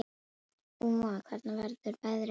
Úa, hvernig verður veðrið á morgun?